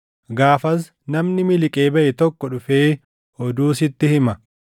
gaafas namni miliqee baʼe tokko dhufee oduu sitti hima.